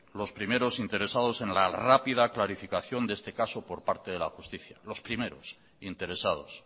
lo primeros interesados en la rápida clarificación de este caso por parte de la justicia los primeros interesados